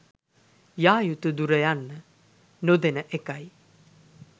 යායුතු දුර යන්න නොදෙන එකයි